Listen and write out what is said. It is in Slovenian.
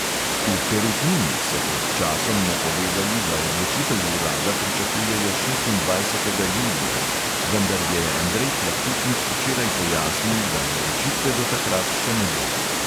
V perutnini so pred časom napovedali, da odločitev urada pričakujejo šestindvajsetega julija, vendar je andrej plahutnik včeraj pojasnil, da odločitve do takrat še ne bo.